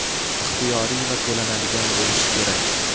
ixtiyoriy va to‘lanadigan bo‘lishi kerak.